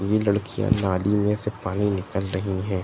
ये लड़कियां नाली में से पानी निकल रही हैं।